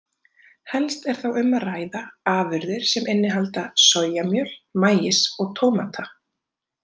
Helst er þá um að ræða afurðir sem innihalda sojamjöl, maís og tómata.